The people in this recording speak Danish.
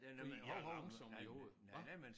Fordi jeg er langsom jo hva?